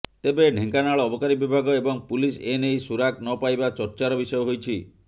ତେବେ ଢେଙ୍କାନାଳ ଅବକାରୀ ବିଭାଗ ଏବଂ ପୁଲିସ ଏ ନେଇ ସୁରାକ ନପାଇବା ଚର୍ଚ୍ଚାର ବିଷୟ ହୋଇଛି